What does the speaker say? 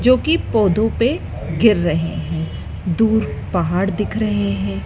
जो की पौधों पे गिर रहें हैं दूर पहाड़ दिख रहें हैं।